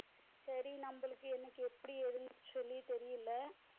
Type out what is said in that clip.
சரி நம்மளுக்கு எனக்கு எப்பிடி ஏதுன்னு சொல்லி தெரியல